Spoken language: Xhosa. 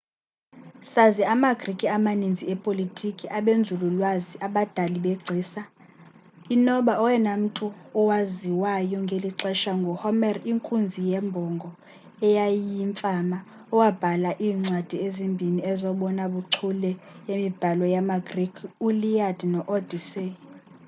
sazi ama-greek amaninzi epolitiki abenzululwazi abadali begcisa inoba oyena mmtu owaziwayo welixesha ngu-homer inkunzi yembongo eyayiyimfama owabhala iimcwadi ezimbhini ezobona buchule zemibhalo yama-greek u-iliad no-odyssey